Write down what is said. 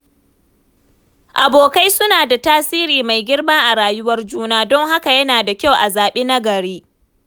Abokai suna da tasiri mai girma a rayuwar juna, don haka yana da kyau a zaɓi nagari.